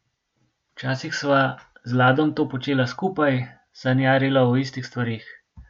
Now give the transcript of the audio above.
Včasih sva z Ladom to počela skupaj, sanjarila o istih stvareh.